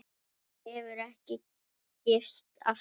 Hún hefur ekki gifst aftur.